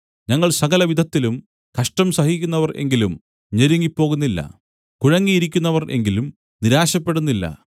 ഞങ്ങൾ സകലവിധത്തിലും കഷ്ടം സഹിക്കുന്നവർ എങ്കിലും ഞെരുങ്ങിപ്പോകുന്നില്ല കുഴങ്ങിയിരിക്കുന്നവർ എങ്കിലും നിരാശപ്പെടുന്നില്ല